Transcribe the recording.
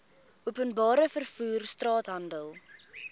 openbare vervoer straathandel